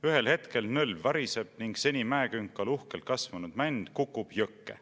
Ühel hetkel nõlv variseb ning seni mäekünkal uhkelt kasvanud mänd kukub jõkke.